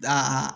Da